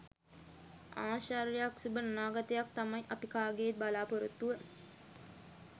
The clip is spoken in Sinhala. ආශ්චර්යයක් සුබ අනාගතයක් තමයි අපි කාගෙත් බලාපොරොත්තුව.